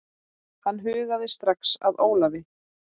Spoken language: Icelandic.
Hann hugaði strax að Ólafi.